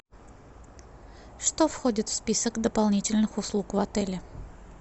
что входит в список дополнительных услуг в отеле